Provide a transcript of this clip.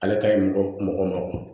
Ale ka ɲi mɔgɔ ma